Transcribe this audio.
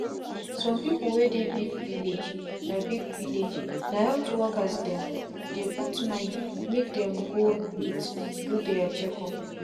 some people wey dey big villagena big villagena health workers dem dey put mind make dem go meet do their check up.